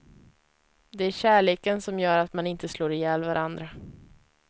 Det är kärleken som gör att man inte slår ihjäl varandra.